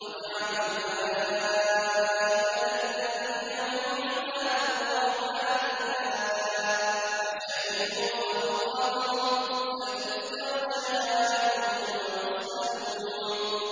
وَجَعَلُوا الْمَلَائِكَةَ الَّذِينَ هُمْ عِبَادُ الرَّحْمَٰنِ إِنَاثًا ۚ أَشَهِدُوا خَلْقَهُمْ ۚ سَتُكْتَبُ شَهَادَتُهُمْ وَيُسْأَلُونَ